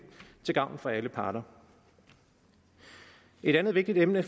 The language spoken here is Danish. til gavn for alle parter et andet vigtigt emne